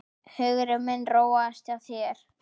Hugur minn róaðist hjá þér.